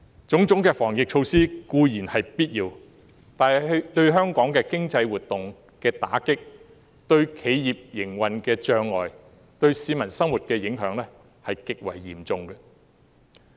種種防疫措施固然是必要，但對香港經濟活動的打擊、對企業營運的阻礙、對市民生活的影響極為嚴重。